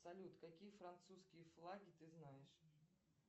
салют какие французские флаги ты знаешь